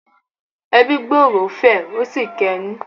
“Ẹbí gbòòrò” fẹ̀ ó sì kẹnú.